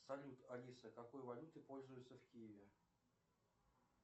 салют алиса какой валютой пользуются в киеве